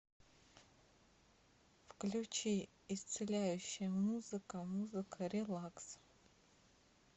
включи исцеляющая музыка музыка релакс